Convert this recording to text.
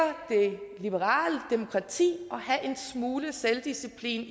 det liberale demokrati og have en smule selvdisciplin